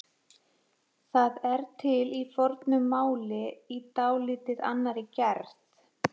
Það er til í fornu máli í dálítið annarri gerð.